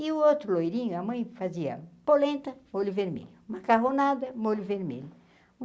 E o outro loirinho, a mãe fazia polenta, molho vermelho, macarronada, molho vermelho.